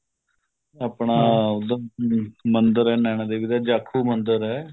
ਆਪਣਾ ਉੱਧਰ ਮੰਦਿਰ ਏ ਨੈਨਾ ਦੇਵੀ ਦਾ ਝਾਕੂ ਮੰਦਿਰ ਏ